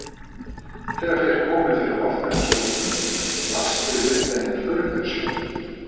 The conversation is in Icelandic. Þegar þeir komu fyrir hornið á skúrnum blasti við þeim furðusjón.